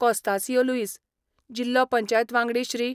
कॉस्तांसियो लुईस, जिल्लो पंचायत वांगडी श्री.